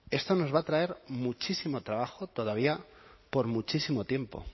esto nos va a traer muchísimo trabajo todavía por muchísimo tiempo